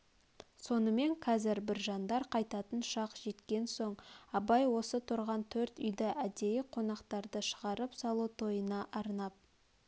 сонымен қазір біржандар қайтатын шақ жеткен соң абай осы тұрған төрт үйді әдейі қонақтарды шығарып салу тойына арнап